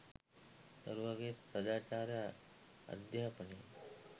දරුවාගේ සදාචාර අධ්‍යාපනයයි.